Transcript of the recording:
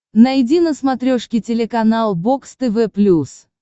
найди на смотрешке телеканал бокс тв плюс